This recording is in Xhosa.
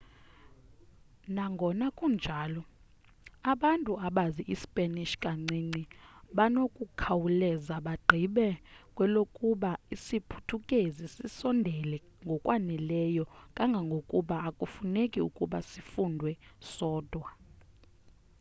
nangona kunjalo abantu abazi ispanish kancinci banokukhawuleza bagqibe kwelokuba isiphuthukezi sisondele ngokwaneleyo kangangokuba akufuneki ukuba sifundwe sodwa